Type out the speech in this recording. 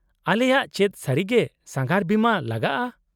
-ᱟᱞᱮᱭᱟᱜ ᱪᱮᱫ ᱥᱟᱹᱨᱤᱜᱮ ᱥᱟᱸᱜᱷᱟᱨ ᱵᱤᱢᱟᱹ ᱞᱟᱜᱟᱜᱼᱟ ?